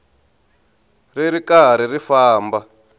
ri ri karhi ri famba